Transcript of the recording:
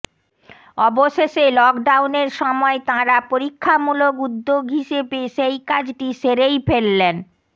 অবশেষে লকজাউনের সময় তাঁরা পরীক্ষামূলক উদ্যোগ হিসেবে সেই কাজটি সেরেই ফেললেন